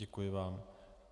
Děkuji vám.